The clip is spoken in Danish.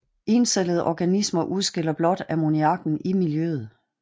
Encellede organismer udskiller blot ammoniakken i miljøet